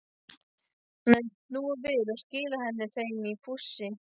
Hann hafði snúið við og skilað henni heim í fússi.